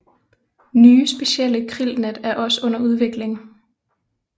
Nye specielle krillnet er også under udvikling